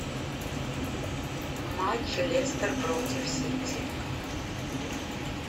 матч лестер против сити